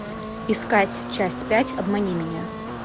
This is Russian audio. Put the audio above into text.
искать часть пять обмани меня